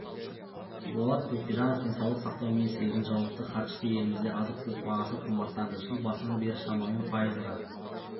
болат төкежанов денсаулық сақтау министрлігіні жауапты хатшысы елімізде азық-түлік бағасы қымбаттады жыл басынан бері шамамен пайызға